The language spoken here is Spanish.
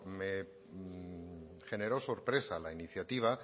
me generó sorpresa la iniciativa